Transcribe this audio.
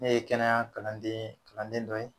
Ne ye kɛnɛya kalandeen kalanden dɔ ye